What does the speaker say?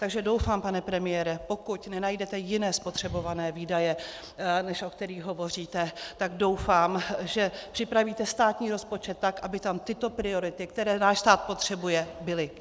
Takže doufám, pane premiére, pokud nenajdete jiné spotřebované výdaje, než o kterých hovoříte, tak doufám, že připravíte státní rozpočet tak, aby tam tyto priority, které náš stát potřebuje, byly.